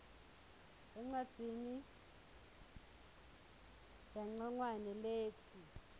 encwadzini yancongwane letsi